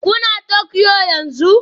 Kuna Tokyo yanzu?